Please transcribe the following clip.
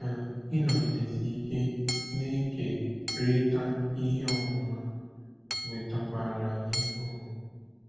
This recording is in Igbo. Ka ịnọgidesi ike na-ekerịta ihe ọmụma wetakwara anyị ọṅụ!